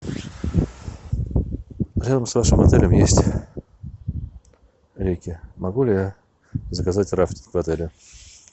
рядом с вашим отелем есть реки могу ли я заказать рафтинг в отеле